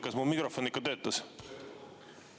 Kas mu mikrofon ikka töötas?